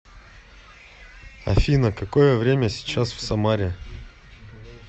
афина какое время сейчас в самаре